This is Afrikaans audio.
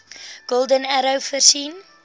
golden arrow voorsien